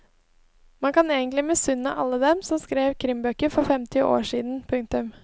Man kan egentlig misunne alle dem som skrev krimbøker for femti år siden. punktum